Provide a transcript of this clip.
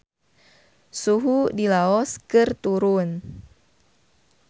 Suhu di Laos keur turun